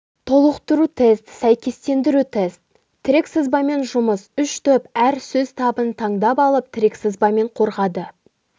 толықтыру тест сәйкестендіру тест тірек сызбамен жұмыс үш топ әр сөз табын таңдап алып тірек-сызбамен қорғады